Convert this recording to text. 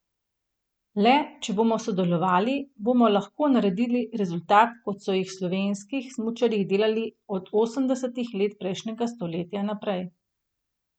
Le, če bomo sodelovali, bomo lahko naredili rezultat, kot so jih slovenskih smučarji delali od osemdesetih let prejšnjega stoletja naprej.